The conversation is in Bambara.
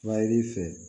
Suma i b'i fɛ